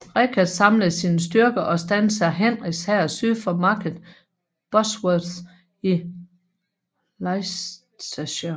Richard samlede sine styrker og standsede Henriks hær syd for Market Bosworth i Leicestershire